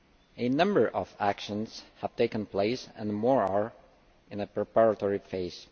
A number of actions have taken place and more are in a preparatory phase.